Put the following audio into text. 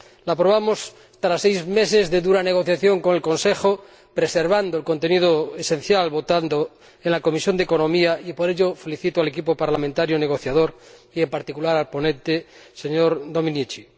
La aprobamos tras seis meses de dura negociación con el Consejo, preservando el contenido esencial, votando en la Comisión de Asuntos Económicos, y por ello felicito al equipo parlamentario negociador y, en particular, al ponente, señor Domenici.